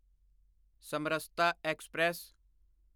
Samarasata express